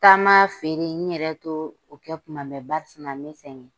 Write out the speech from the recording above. Taama feere n yɛrɛ t'o o kɛ kuma bɛɛ, barisina me sɛgɛ.